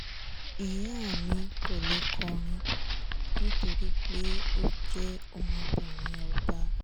ìyá mi kò lè kọrin nítorí pé ó jẹ́ ọmọbìnrin ọba